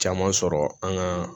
Caman sɔrɔ an ka